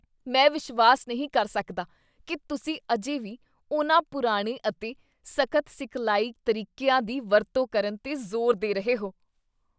ਮੈਂ ਵਿਸ਼ਵਾਸ ਨਹੀਂ ਕਰ ਸਕਦਾ ਕੀ ਤੁਸੀਂ ਅਜੇ ਵੀ ਉਨ੍ਹਾਂ ਪੁਰਾਣੇ ਅਤੇ ਸਖ਼ਤ ਸਿਖਲਾਈ ਤਰੀਕਿਆਂ ਦੀ ਵਰਤੋਂ ਕਰਨ 'ਤੇ ਜ਼ੋਰ ਦੇ ਰਹੇ ਹੋ!